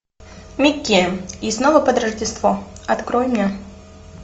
микки и снова под рождество открой мне